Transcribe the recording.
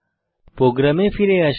প্রোগ্রামে ফিরে আসি